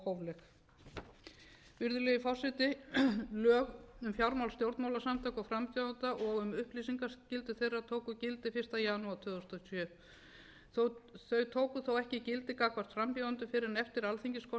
óeðlileg og óhófleg virðulegi forseti lög um fjármál stjórnmálasamtaka og frambjóðenda og um upplýsingaskyldu þeirra tóku gildi fyrsta janúar tvö þúsund og sjö þau tóku þó ekki gildi gagnvart frambjóðendum fyrr en eftir alþingiskosningar sem fram